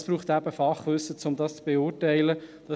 Es braucht eben Fachwissen, um das beurteilen zu können.